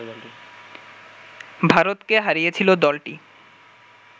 ভারতকে হারিয়েছিল দলটি